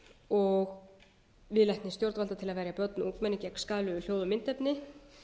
og viðleitni stjórnvalda til að verja börn og ungmenni gegn skaðlegum hljóð og myndefni